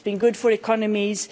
It's been good for economies.